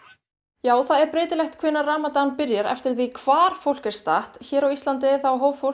já það er breytilegt hvenær ramadan byrjar eftir því hvar fólk er statt hér á Íslandi þá hóf fólk